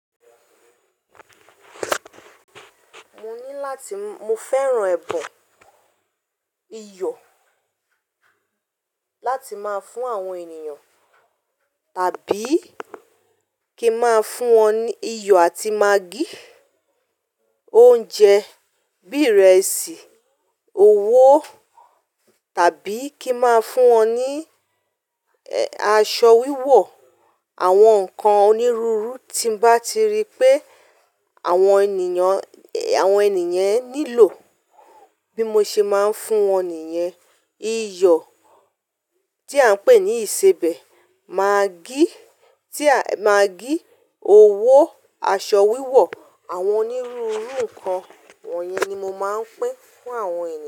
Mo ní láti, mo fẹ́ràn ẹ̀bùn iyọ̀ láti máa fún àwọn ènìyàn, tàbí kí ń máa fún wọn ní iyọ̀ àti magí, oúnjẹ bí ìrẹsì, owó tàbí kí ń máa fún wọn ní aṣọ wíwọ̀, àwọn nǹkan onírúurú tí bá ti rí pé àwọn ènìyàn, àwọn ènìyen nílò, bí mo ṣe máa ń fún wọn nìyen. Iyọ̀ tí à ń pè ní ìsebẹ̀, magí tí à, magí, owó, aṣọ wíwọ̀, àwọn onírúurú nǹkan wọ̀nyẹn ni mo máa ń pín fún àwọn ènìyàn.